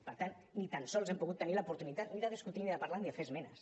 per tant ni tan sols hem pogut tenir l’oportunitat ni de discutir ni de parlar ni de fer esmenes